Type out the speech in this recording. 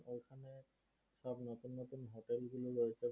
ওইগুলো রয়েছে